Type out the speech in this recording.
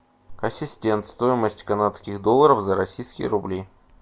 ассистент стоимость канадских долларов за российские рубли